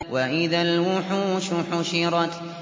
وَإِذَا الْوُحُوشُ حُشِرَتْ